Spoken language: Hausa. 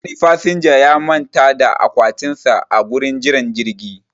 Wani fasinja ya manta da akwatin sa a gurin jiran jirgi